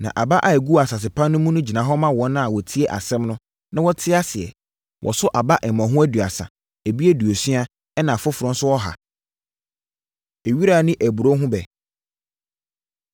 Na aba a ɛguu asase pa mu no gyina hɔ ma wɔn a wɔtie asɛm no, na wɔte aseɛ. Wɔso aba mmɔho aduasa; ebi aduosia; ɛnna afoforɔ nso, ɔha.” Ewira Ne Aburoo Ho Ɛbɛ